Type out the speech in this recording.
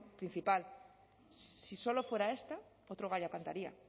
principal si solo fuera esto otro gallo cantaría